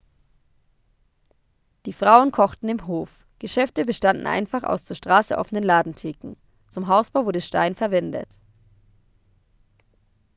die frauen kochten im hof geschäfte bestanden einfach aus zur straße offenen ladentheken zum hausbau wurde stein verwendet